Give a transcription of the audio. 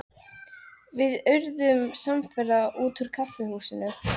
Við urðum samferða út úr kaffihúsinu.